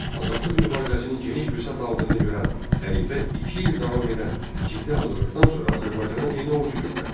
Azadlıq mübarizəsinin geniş vüsət aldığını görən xəlifə iki il davam edən ciddi hazırlıqdan sonra Azərbaycana yeni ordu göndərdi.